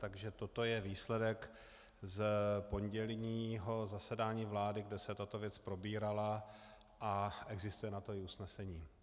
Takže toto je výsledek z pondělního zasedání vlády, kde se tato věc probírala, a existuje na to i usnesení.